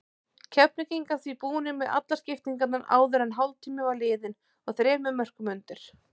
Keflvíkingar því búnir með allar skiptingarnar áður en hálftími var liðinn og þremur mörkum undir.